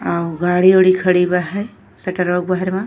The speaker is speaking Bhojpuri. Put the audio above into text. आव गाडी-ओडी खड़ी बा है शटरवा के बहरवा।